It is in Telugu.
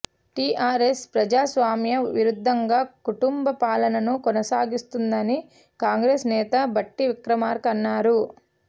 టీఆర్ఎస్ ప్రజాస్వామ్య విరుద్ధంగా కుటుంబ పాలనను కొనసాగిస్తోందని కాంగ్రెస్ నేత భట్టి విక్రమార్క అన్నారు